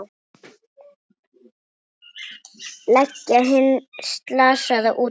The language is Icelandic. Leggja hinn slasaða út af.